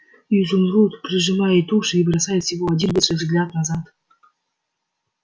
изумруд прижимает уши и бросает всего один быстрый взгляд назад